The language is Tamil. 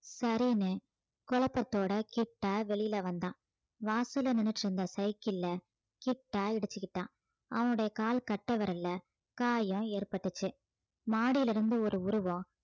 சரின்னு குழப்பத்தோட கிட்டா வெளியில வந்தான் வாசல்ல நின்னுட்டு இருந்த cycle அ கிட்டா இடிச்சுக்கிட்டான் அவனுடைய கால் கட்டை விரல்ல காயம் ஏற்பட்டுச்சு மாடியிலிருந்து ஒரு உருவம்